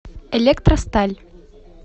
электросталь